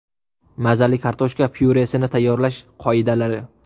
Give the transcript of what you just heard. Mazali kartoshka pyuresini tayyorlash qoidalari.